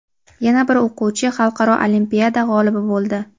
Yana bir o‘quvchi xalqaro olimpiada g‘olibi bo‘ldi.